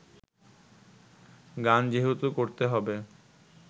গান যেহেতু করতে হবে